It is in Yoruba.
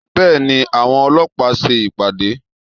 Bẹ́ẹ̀ni, àwọn ọlọ́pàá ń ṣe ìpàdé